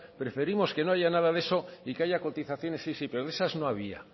preferimos que no haya nada de eso y que haya cotizaciones sí sí pero de esas no había